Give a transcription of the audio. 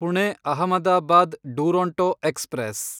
Pune Ahmedabad Duronto express